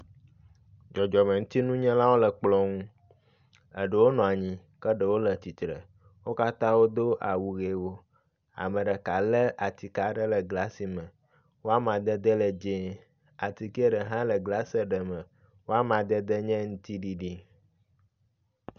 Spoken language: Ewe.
Dzɔdzɔmeŋutinunyalwo le kplɔ nu. Eɖewo nɔ anyi ke ɖewo le atsitre. Wo katã wodo awu ʋiwo. Ame ɖeka le atike aɖe ɖe glasi me. Wo amadede le dzi. Atikea ɖe hã le glasi ɖe me wo amadede nye ŋtiɖiɖi.